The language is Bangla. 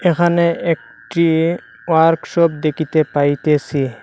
এখানে একটি ওয়ার্কশপ দেখিতে পাইতেসি।